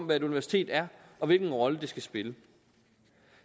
hvad et universitet er og hvilken rolle det skal spille